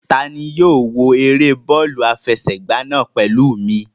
Ta ni yóò wo eré bọ́ọ̀lù àfẹsẹ̀gbá náà pẹ̀lú mi?